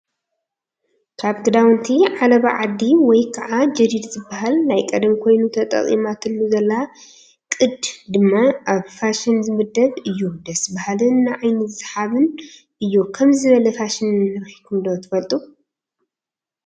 ካብ ክዳውቲ ዓለባ ዓዲ ወይ ከዓ ጀዲድ ዝበሃል ናይ ቀደም ኮይኑ ተጠቂማትሉ ዘላ ቅድ ድማ ኣብ ፋሽን ዝምደብ እዩ። ደስ ባሃሊን ንዓይኒ ሰሓብን እዩ። ከምዙይ ዝበለ ፋሽን ረኢኩም ዶ ትፈልጡ ?